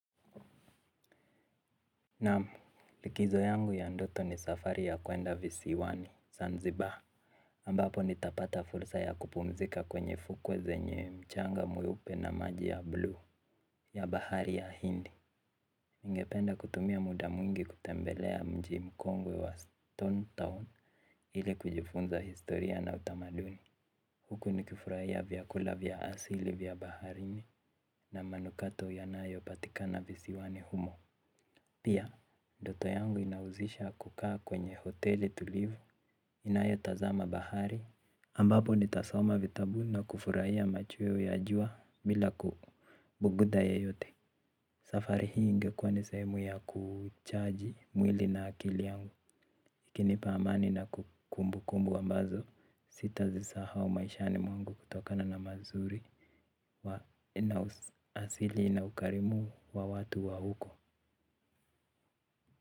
Naam, likizo yangu ya ndoto ni safari ya kuenda visiwani, zanzibar. Ambapo nitapata fursa ya kupumzika kwenye fukwe zenye mchanga mweupe na maji ya bluu ya bahari ya hindi. Ningependa kutumia muda mwingi kutembelea mji mkongwe wa Stone Town ili kujifunza historia na utamaduni. Huku nikifurahia vyakula vya asili vya baharini na manukato yanayo patikana visiwani humo. Pia, ndoto yangu inahusisha kukaa kwenye hoteli tulivu, inayo tazama bahari ambapo nitasoma vitabu na kufurahia machweo ya jua bila kubuguda yeyote. Safari hii ingekuwa ni sehemu ya kuchaji mwili na akili yangu. Ikinipa amani na kumbukumbu ambazo sitazisahau maishani mwangu kutokana na mazuri wa na uasili na ukarimu wa watu wa huko.